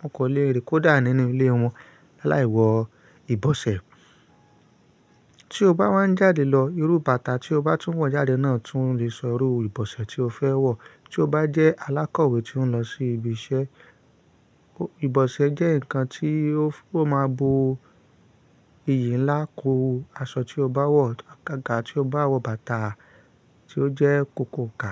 wọ́n kò le rìn kó dà nínú ilé wọn láì wọ ìbọ̀ṣẹ̀. Tí o bá wá ń jáde lọ, irú bàtà tí o bá tún wọ̀ jáde náà tún lè sọ irú ìbọ̀ṣẹ̀ tí o fẹ́ wọ̀. Tí o bá jẹ́ alákọ̀wé tí ó ń lọ sí ibi iṣẹ́, ìbọ̀ṣẹ̀ jẹ́ nǹkan tí ó máa bo iyì ńlá kú aṣọ tí o bá wọ̀, àgàgà tí o bá wọ bàtà tí ó jẹ́ kòkòǹkà.